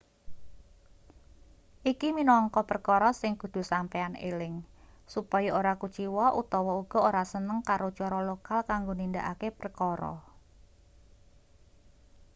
iki minangka perkara sing kudu sampeyan eling supaya ora kuciwa utawa uga ora seneng karo cara lokal kanggo nindakake prekara